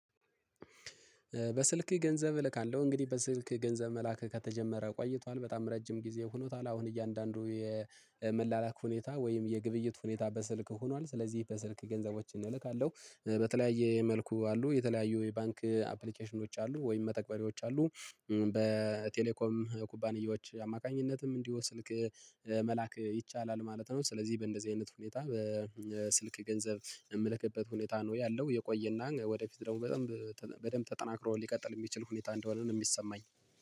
በስልክ ገንዘብ እልካለሁ። እንግዲህ በስልክ ገንዘብ መላክ ከተጀመረ ቆይቷል በጣም ረጅም ጊዜ ሆኖታል። አሁን እያንዳንዱ የመላላክ ሁኔታ ወይም የግብይት ሁኔታ በስልክ ሆኗል። ስለዚህ በስልክ ገንዘቦችን እልካለሁ በተለያየ መልኩ አሉ የተለያዩ የባንክ አፕሊኬሽኖች አሉ ወይም መተግበሪዎች አሉ በቴሌኮም ኩባንያዎች አማካኝነትም እንዲሁ ስልክ መላክ ይቻላል ማለት ነው። ስለዚህ በእንደዚህ አይነት ሁኔታ በስልክ ገንዘብ ምልክበት ሁኔታ ነው ያለው የቆየና ወደፊት ደግሞ በደንብ በደንብ ተጠናክሮ ሊቀጥል ሚችል ሁኔታ እንደሆነ ነው ሚሰማኝ።